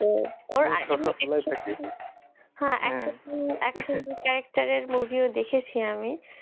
character এর movie ও দেখেছি আমি,